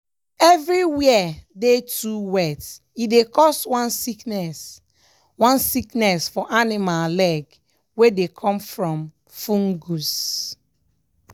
if everywhere dey too wet e dey cause one sickness one sickness for animal leg wey dey come from fungus.